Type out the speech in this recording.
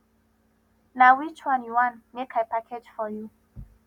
na which one you wan make i package for you